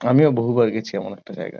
আমিও বহুবার গেছি এমন একটা জায়গায়।